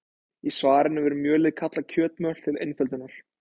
Í svarinu verður mjölið kallað kjötmjöl til einföldunar.